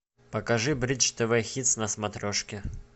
покажи бридж тв хитс на смотрешке